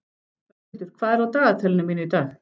Höskuldur, hvað er á dagatalinu mínu í dag?